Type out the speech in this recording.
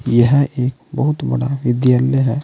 यह एक बहुत बड़ा विद्यालय है।